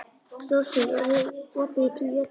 Rósfríður, er opið í Tíu ellefu?